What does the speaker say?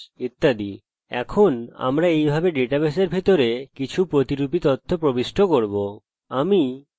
এখন আমরা এইভাবে ডাটাবেসের ভিতরে কিছু প্রতিরুপী তথ্য প্রবিষ্ট করব